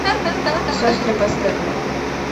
сестры по степу